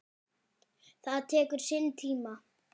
Það tekur sinn tíma.